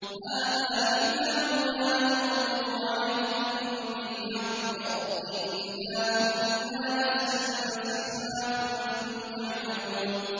هَٰذَا كِتَابُنَا يَنطِقُ عَلَيْكُم بِالْحَقِّ ۚ إِنَّا كُنَّا نَسْتَنسِخُ مَا كُنتُمْ تَعْمَلُونَ